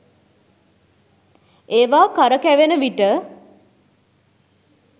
ඒවා කරකැවෙන විට